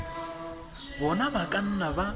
bona ba ka nna ba